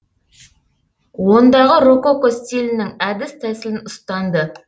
ондағы рококко стилінің әдіс тәсілін ұстанды